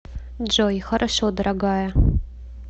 джой хорошо дорогая